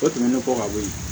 O tɛmɛnen kɔ ka bɔ yen